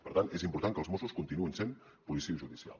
per tant és important que els mossos continuïn sent policia judicial